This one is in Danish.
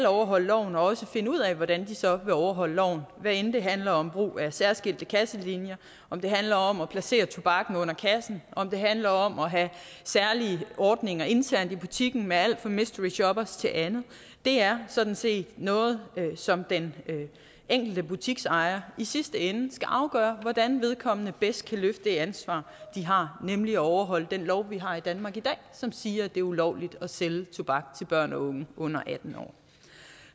overholde loven og også finde ud af hvordan de så vil overholde loven hvad enten det handler om brug af særskilte kasselinjer om det handler om at placere tobakken under kassen om det handler om at have særlige ordninger internt i butikken med alt fra mystery shoppere til andet er sådan set noget som den enkelte butiksejer i sidste ende skal afgøre hvordan vedkommende bedst kan løfte det ansvar de har nemlig at overholde den lov vi har i danmark i dag som siger at det er ulovligt at sælge tobak til børn og unge under atten år